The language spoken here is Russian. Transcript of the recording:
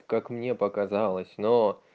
как мне показалось но